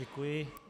Děkuji.